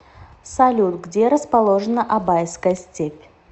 салют где расположена абайская степь